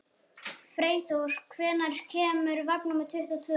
Freyþór, hvenær kemur vagn númer tuttugu og tvö?